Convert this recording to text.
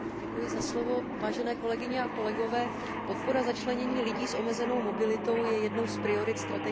Vážené kolegyně a vážení kolegové, podpora začlenění lidí s omezenou mobilitou je jednou z priorit strategie EU